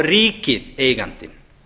er ríkið eigandi